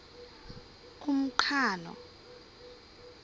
umqhano